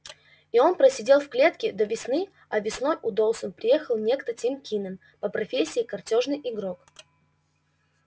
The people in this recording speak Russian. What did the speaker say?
и он просидел в клетке до весны а весной у доусон приехал некто тим кинен по профессии картёжный игрок